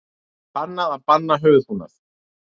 Bannað að banna höfuðbúnað